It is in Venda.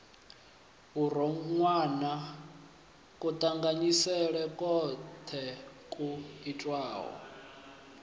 vhuronwane kuṱanganyisele kwoṱhe kwu itiwa